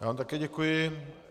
Já vám také děkuji.